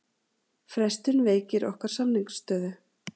Frestun veikir okkar samningsstöðu